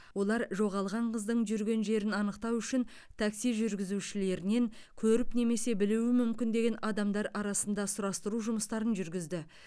олар жоғалған қыздың жүрген жерін анықтау үшін такси жүргізушілерінен көріп немесе білуі мүмкін деген адамдар арасында сұрастыру жұмыстарын жүргізді